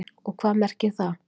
Og hvað merkir það?